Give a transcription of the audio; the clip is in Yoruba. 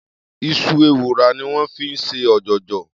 Is̩u ewùrà ni wó̩n fi ń s̩e ò̩jò̩jò̩